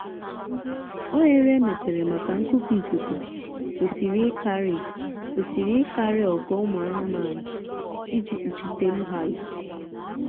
oghere emepere maka nkupu ikuku kwesịrị ịkarị kwesịrị ịkarị ogo ụmụ anụmanụ iji kpuchitetu ha n'ikuku